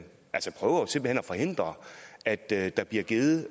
forhindre at der der bliver givet